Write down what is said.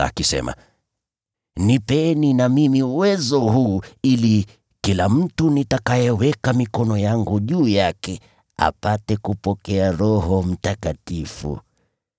akisema, “Nipeni na mimi uwezo huu ili kila mtu nitakayeweka mikono yangu juu yake apate kupokea Roho Mtakatifu.”